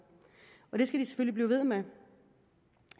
og det skal de selvfølgelig blive ved med